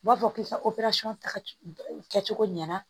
U b'a fɔ k'i ka ta kɛcogo ɲɛna